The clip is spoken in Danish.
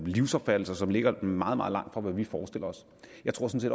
livsopfattelse som ligger meget meget langt fra hvad vi forestiller os jeg tror sådan